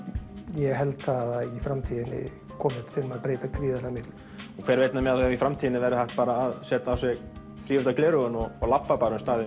ég held það að í framtíðinni komi þetta til með að breyta gríðarlega miklu hver veit nema í framtíðinni þá verði hægt bara að setja á sig þrívíddargleraugun og labba bara um staðinn